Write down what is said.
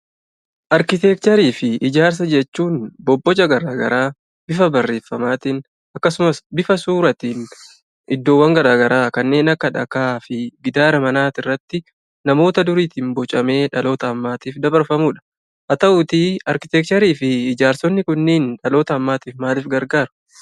Arkiteekcharii fi ijaarsa jechuun bobboca garaa garaa bifa barreeffamaatiin akkasumas bifa suuraatiin iddoowwan garaa garaa kanneen akka dhagaa fi gitaara manaa irratti namoota duriitiin bocamee dhaloota ammaatiif dabarfamuudha. Haa ta'uutii arkiteekcharii fi ijaarsi kunniin dhaloota ammaatiif maaliif gargaara?